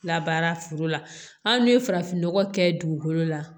Labaara foro la hali ni ye farafin nɔgɔ kɛ dugukolo la